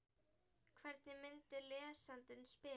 Hvernig myndi lesandinn spila?